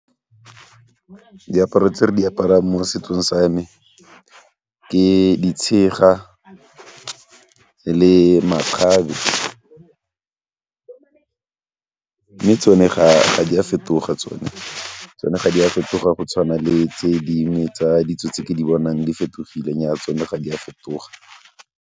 Diaparo tse re di aparang mo setsong sa me di tshega le makgabe mme tsone ga di a fetoga tsone, tsone ga di a fetoga go tshwana le tse dingwe tsa ditso tse ke di bonang di fetogileng nnyaa tsone ga di a fetoga.